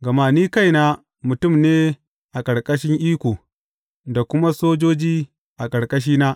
Gama ni kaina mutum ne a ƙarƙashin iko, da kuma sojoji a ƙarƙashina.